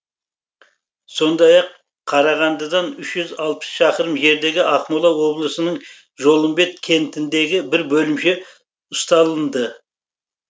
сондай ақ қарағандыдан үш жүз алпыс шақырым жердегі ақмола облысының жолымбет кентіндегі бір бөлімше ұсталынды